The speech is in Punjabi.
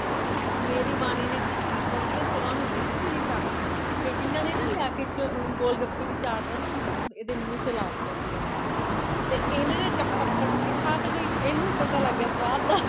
ਮੇਰੀ ਬਾਨੀ ਨੇ ਕਿ ਕੀਤਾ ਸੀਗਾ ਸਵਾ ਮਹੀਨੇ ਦੀ ਸੀ ਬੀਚਾਰੀ ਇਹਨਾਂ ਨੇ ਨਾ ਲਿਆਕੇ ਗੋਲ ਗੱਪੇ ਦੀ chart ਨਾ ਇਹਦੇ ਮੂਹ ਤੇ ਲਾਤਾ ਸੀਗਾ ਤੇ ਏਹਨੇ ਨਾ ਟਪ ਟਪ ਕਰਕੇ ਖਾ ਤਾ ਗਈ ਇਹਨੂੰ ਪਤਾ ਲੱਗ ਗਿਆ ਸਵਾਦ ਦਾ